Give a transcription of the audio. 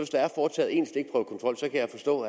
står